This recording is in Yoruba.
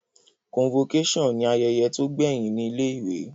Convocation ni ayẹyẹ to gbẹhin ni ilé ìwé